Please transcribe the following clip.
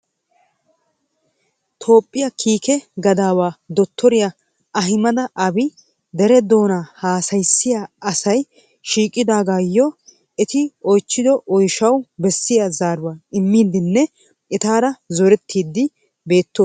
Toophiya Kiike Gadawa Dottoriya Ahammada Aabi dere doona haassayiyaa asay shiiqidaagayyo eti oychchido oyshshaw bessiya zaaruwaa immidenne etaara zorettide beettoosona.